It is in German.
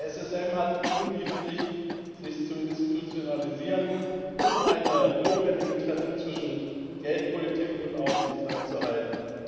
Der SSM hat die Pflicht, sich zu institutionalisieren, um eine notwendige Trennung zwischen Geldpolitik und Aufsicht einzuhalten.